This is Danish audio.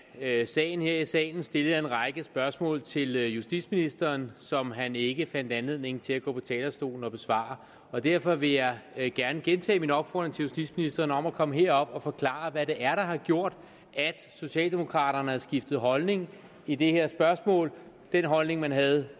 af sagen her i salen stillede jeg en række spørgsmål til justitsministeren som han ikke fandt anledning til at gå på talerstolen og besvare derfor vil jeg gerne gentage min opfordring til justitsministeren om at komme herop og forklare hvad det er der har gjort at socialdemokraterne har skiftet holdning i det her spørgsmål den holdning man havde